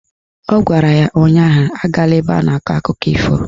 Ọ gwara ya ụnyaahụ "Agala ebe a na-akọ akụkọ ifo"